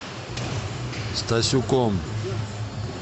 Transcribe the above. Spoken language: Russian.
стасюком